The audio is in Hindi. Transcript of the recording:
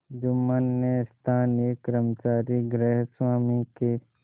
जुम्मन ने स्थानीय कर्मचारीगृहस्वामीके